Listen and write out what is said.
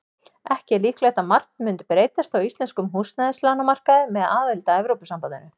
Ekki er líklegt að margt mundi breytast á íslenskum húsnæðislánamarkaði með aðild að Evrópusambandinu.